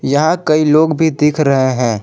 यहां कई लोग भी दिख रहे हैं।